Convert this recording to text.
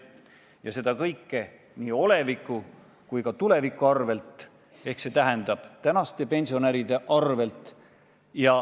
Ja seda kõike nii oleviku kui ka tuleviku arvel, see tähendab, et ka praeguste pensionäride arvel.